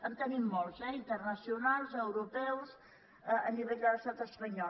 en tenim molts eh interna·cionals europeus a nivell de l’estat espanyol